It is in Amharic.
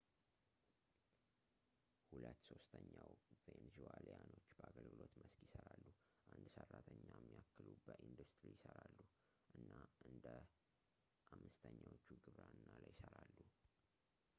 ሁለት ሶስተኛው ቬንዙዋሊያኖች በአገልግሎት መስክ ይሠራሉ አንድ አራተኛ የሚያክሉ በኢንዱስትሪ ይሠራሉ እና አንደ አምስተኛዎቹ ግብርና ላይ ይሠራሉ